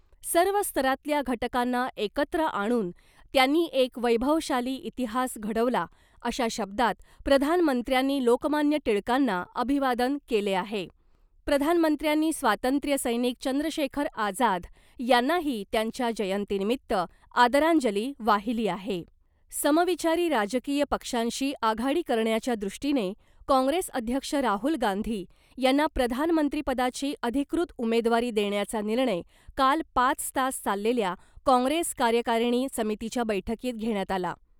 सर्व स्तरातल्या घटकांना एकत्र आणून त्यांनी एक वैभवशाली इतिहास घडवला अशा शब्दात प्रधानमंत्र्यांनी लोकमान्य टिळकांना अभिवादन केले आहे. प्रधानमंत्र्यांनी स्वातंत्र्यसैनिक चंद्रशेखर आझाद यांनाही त्यांच्या जयंतीनिमित्त आदरांजली वाहिली आहे. समविचारी राजकीय पक्षांशी आघाडी करण्याच्या दृष्टीने काँग्रेस अध्यक्ष राहुल गांधी यांना प्रधानमंत्रीपदाची अधिकृत उमेदवारी देण्याचा निर्णय काल पाच तास चाललेल्या काँग्रेस कार्यकारिणी समितीच्या बैठकीत घेण्यात आला .